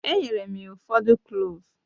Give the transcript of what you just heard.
Enyere m ya ụfọdụ Kloovu